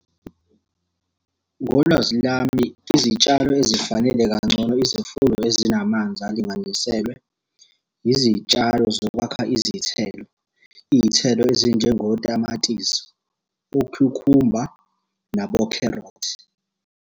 Ngolwazi lami, izitshalo ezifanele kangcono izifunda ezinamanzi alinganiselwe, yizitshalo zokwakha izithelo. Iy'thelo ezinjengotamatisi, okhukhumba, nabokherothi.